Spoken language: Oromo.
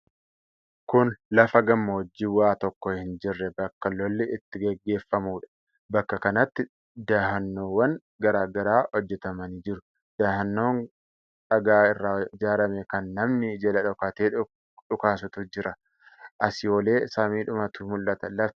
Kun lafa gammoojjii waa tokko hin jirre bakka lolli itti gaggeeffamuudha. Bakka kanatti dahannoowwan garaa garaa hojjatamanii jiru. Dahannoon dhagaa irraa ijaarame kan nami jala dhokatee dhukaasutu jira. Asii olee samiidhumatu mul'ata. Lafti isaa daaraadha.